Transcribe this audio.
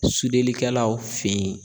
Sudelikɛlaw fe yen.